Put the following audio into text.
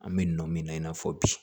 An bɛ nɔ min na i n'a fɔ bi